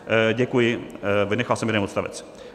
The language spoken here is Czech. Děkuji, vynechal jsem jeden odstavec.